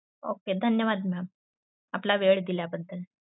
Okay धन्यवाद ma'am. आपला वेळ दिल्याबद्दल.